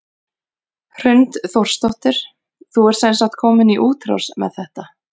Hrund Þórsdóttir: Þú ert sem sagt komin í útrás með þetta?